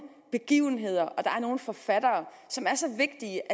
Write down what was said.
begivenheder og nogle forfattere som er så vigtige